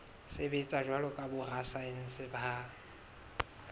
sebetsa jwalo ka borasaense ba